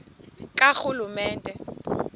karhulumente